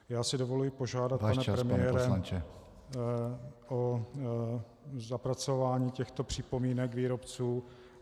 Já si dovoluji požádat, pane premiére , o zapracování těchto připomínek výrobců.